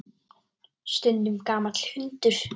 Stundum gamall hundur.